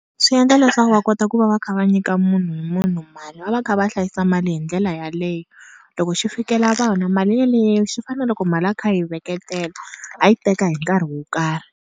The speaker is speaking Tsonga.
Swi endla leswaku va kota ku va va kha va nyika munhu hi munhu mali va va kha va hlayisa mali hi ndlela yaleyo loko xi fikela vana mali yaleyo xi fana na loko mali a kha a yi veketela a yi teka hi nkarhi wo karhi.